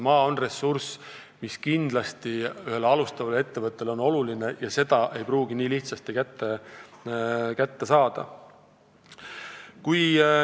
Maa on ressurss, mis on kindlasti ühele alustavale ettevõttele oluline, ja seda ei pruugi olla nii lihtne kätte saada.